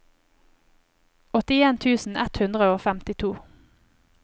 åttien tusen ett hundre og femtito